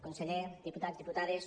conseller diputats diputades